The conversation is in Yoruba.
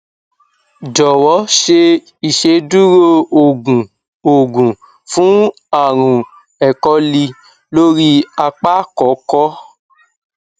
jowo ṣe iṣeduro oogun oogun fun arun ẹkọlì lori apá kòkó